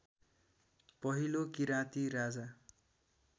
पहिलो किराँती राजा